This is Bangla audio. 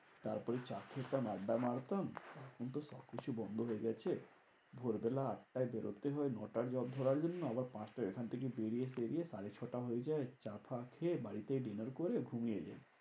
তারপর এই চা খেতাম আড্ডা মারতাম। কিন্তু সবকিছু বন্ধ হয়ে গেছে। ভোর বেলা আটটায় বেরোতে হয় নটার job ধরার জন্য। আবার পাঁচটায় এখন থেকে বেরিয়ে টেরিয়ে সাড়ে ছটা হয়ে যায়। চা ফা খেয়ে বাড়িতে dinner করে ঘুমিয়ে যায়।